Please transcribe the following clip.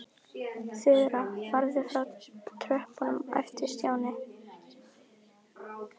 Þura, farðu frá tröppunum æpti Stjáni.